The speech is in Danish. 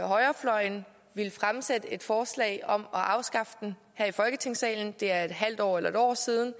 højrefløjen ville fremsætte et forslag om at afskaffe den her i folketingssalen det er et halvt år eller et år siden